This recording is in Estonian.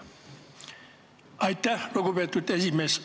Aitäh, lugupeetud esimees!